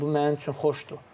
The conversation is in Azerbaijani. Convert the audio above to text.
Bu mənim üçün xoşdur.